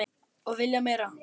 Og vilja meira.